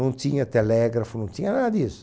Não tinha telégrafo, não tinha nada disso.